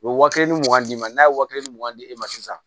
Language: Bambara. U bɛ waa kelen ni mugan d'i ma n'a ye waa kelen mugan di e ma sisan